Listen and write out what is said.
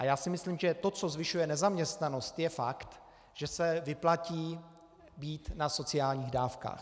A já si myslím, že to, co zvyšuje nezaměstnanost, je fakt, že se vyplatí být na sociálních dávkách.